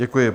Děkuji.